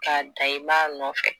K'a dan i b'a nɔfɛ